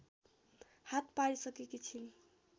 हात पारसिकेकी छिन्